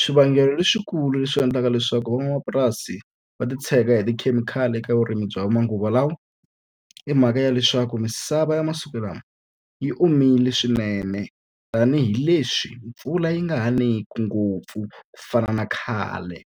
Swivangelo leswikulu leswi endlaka leswaku van'wamapurasi va titshega hi tikhemikhali eka vurimi bya manguva lawa, i mhaka ya leswaku misava ya masiku lama yi omile swinene tanihileswi mpfula yi nga ha niki ngopfu ku fana na khale.